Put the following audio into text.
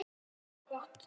MIKIL BIRTA